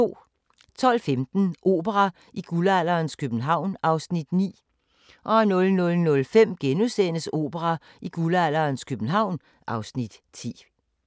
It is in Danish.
12:15: Opera i guldalderens København (Afs. 9) 00:05: Opera i guldalderens København (Afs. 9)*